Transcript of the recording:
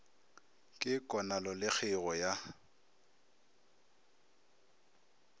ke konalo le kgeigo ya